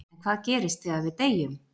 En hvað gerist þegar við deyjum?